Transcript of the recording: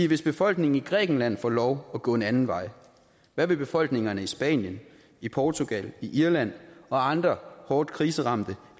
hvis befolkningen i grækenland får lov at gå en anden vej hvad vil befolkningerne i spanien i portugal i irland og andre hårdt kriseramte